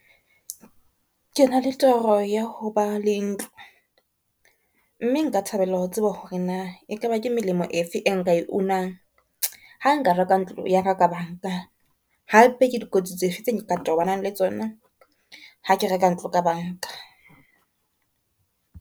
Kena le toro ya ho ba le ntlo, mme nka thabela ho tseba hore na e ka ba ke melemo e fe e nka e unang , ha nka reka ntlo ya ka banka, hape ke dikotsi tse fe tse nka tobanang le tsona ha ke reka ntlo ka banka.